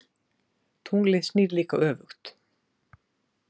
Tunglið snýr líka öfugt.